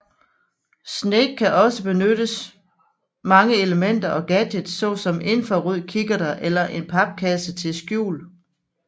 Snake kan også benytte mange elementer og gadgets såsom infrarødkikkerter eller en papkasse til skjul